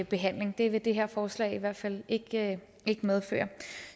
behandling og det vil det her forslag i hvert fald ikke medføre